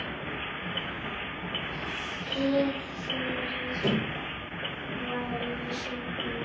Hið fyrra var í sögnum.